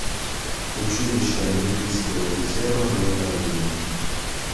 училище олимпийского резерва номер один